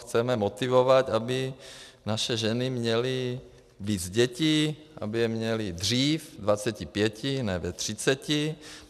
Chceme motivovat, aby naše ženy měly víc dětí, aby je měly dřív, ve dvaceti pěti, ne ve třiceti.